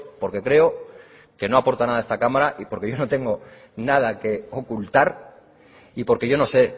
porque creo que no aporta nada a esta cámara y porque yo no tengo nada que ocultar y porque yo no sé